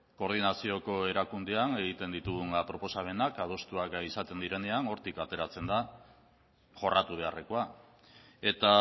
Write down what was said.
koordinazioko erakundean egiten ditugun proposamenak adostuak izaten direnean hortik ateratzen da jorratu beharrekoa eta